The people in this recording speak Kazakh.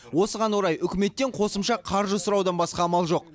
осыған орай үкіметтен қосымша қаржы сұраудан басқа амал жоқ